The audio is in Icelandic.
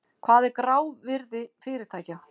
Hvað er grávirði fyrirtækja?